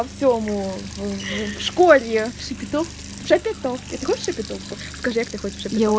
артему в школе в шепетовке заготовки игрушек этого не хочешь